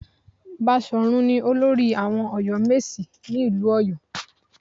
Baṣọ̀run ni olórí àwọn Ọ̀yọ́mèsì ní ìlú Ọ̀yọ́